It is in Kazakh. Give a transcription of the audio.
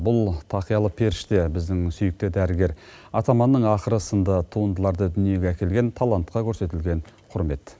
бұл тақиялы періште біздің сүйікті дәрігер атаманның ақыры сынды туындыларды дүниеге әкелген талантқа көрсетілген құрмет